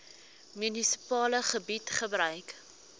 munisipale gebied gebruik